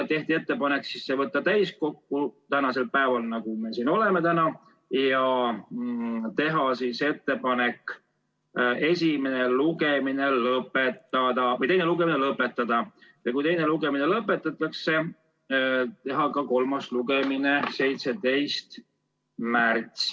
Tehti ettepanek võtta see täiskokku tänaseks päevaks, teha ettepanek teine lugemine lõpetada ja kui teine lugemine lõpetatakse, teha kolmas lugemine 17. märtsil.